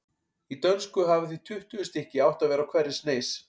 Í dönsku hafa því tuttugu stykki átt að vera á hverri sneis.